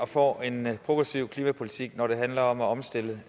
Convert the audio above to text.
får en progressiv klimapolitik når det handler om at omstille